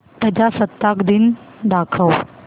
प्रजासत्ताक दिन दाखव